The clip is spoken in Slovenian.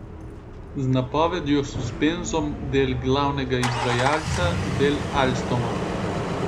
Z napovedjo suspenzom del glavnega izvajalca del Alstoma.